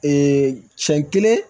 siɲɛ kelen